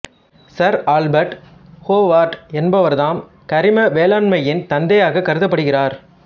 sir Albert Howard என்பவர்தாம் கரிம வேளாண்மையின் தந்தையாகக் கருதப்படுகிறார்